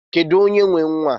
Kedụ onye nwe nwaa?